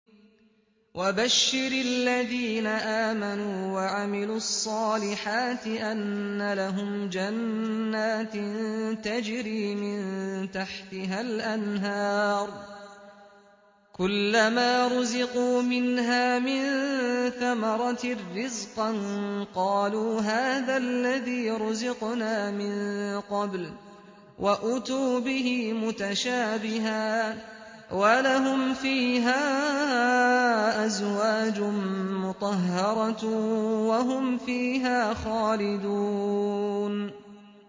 وَبَشِّرِ الَّذِينَ آمَنُوا وَعَمِلُوا الصَّالِحَاتِ أَنَّ لَهُمْ جَنَّاتٍ تَجْرِي مِن تَحْتِهَا الْأَنْهَارُ ۖ كُلَّمَا رُزِقُوا مِنْهَا مِن ثَمَرَةٍ رِّزْقًا ۙ قَالُوا هَٰذَا الَّذِي رُزِقْنَا مِن قَبْلُ ۖ وَأُتُوا بِهِ مُتَشَابِهًا ۖ وَلَهُمْ فِيهَا أَزْوَاجٌ مُّطَهَّرَةٌ ۖ وَهُمْ فِيهَا خَالِدُونَ